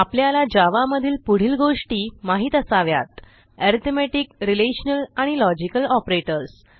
आपल्याला जावा मधील पुढील गोष्टी माहित असाव्यात अरिथमेटिक रिलेशनल आणि लॉजिकल ऑपरेटर्स